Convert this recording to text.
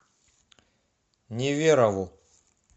неверову